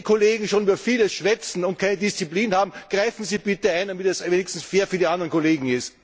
Wenn die Kollegen schon über vieles schwätzen und keine Disziplin haben, greifen Sie bitte ein, damit es wenigstens fair für die anderen Kollegen ist!